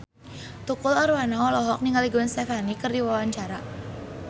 Tukul Arwana olohok ningali Gwen Stefani keur diwawancara